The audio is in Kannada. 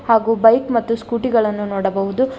ಹಾಗೂ ಬೈಕ್ ಮತ್ತು ಸ್ಕೂಟಿ ಗಳನ್ನು ನೋಡಬಹುದು.